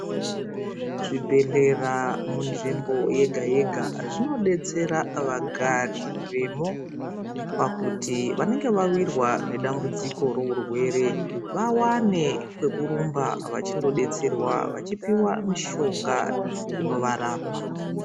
Zvibhedhlera munzvimbo yega yega zvinodetsera vagari vemo pakuti vanenge vawirwa nedambudziko reurwere vawane pekurumba vachidetserwa vachipuwa mishonga inorapa.